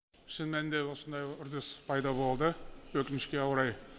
шын мәнінде осындай үрдіс пайда болды өкінішке орай